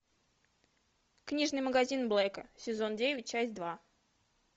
книжный магазин блэка сезон девять часть два